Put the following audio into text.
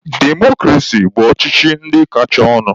Demokrasi bụ ọchịchị ndị kachanụ.